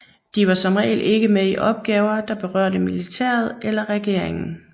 De var som regel ikke med i opgaver der berørte militæret eller regeringen